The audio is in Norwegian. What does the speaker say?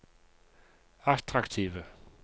attraktive